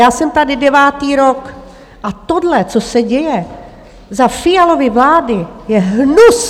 Já jsem tady devátý rok a tohle, co se děje za Fialovy vlády, je hnus!